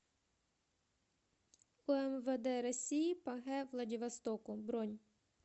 умвд россии по г владивостоку бронь